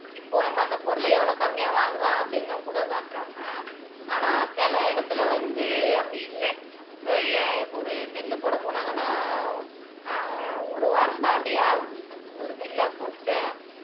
இப்போ நம்ம அந்த பொருளை எவ்ளோ கம்மியா வாங்கலாம் அப்படின்னும் கூட காட்டுறாங்க ஆனா சில இடத்துல வந்து அப்படி இல்ல இப்ப ஒரு நெல்லு போட போனாங்கன்னா ஆஹ் ஒரு வாரம் தாண்டியே ஆகுது ஒரு நெல்ல போட்டுட்டு